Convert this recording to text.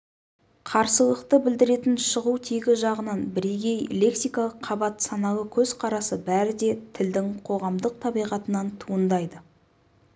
қарсылықты білдіретін шығу тегі жағынан бірегей лексикалық қабат саналы көзқарасы бәрі де тілдің қоғамдық табиғатынан туындайды